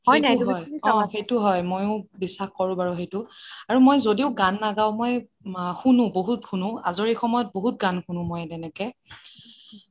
অ সেইটো হয় মইয়ো বিশ্বাস কৰোঁ বাৰু সেইটো আৰু যদিও মই গান নাগাঁও মই শুনু বহুত শুনু আজৰি সময়ত বহুত গান শুনু তেনেকে